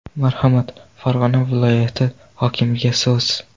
Marhamat, Farg‘ona viloyati hokimiga so‘z.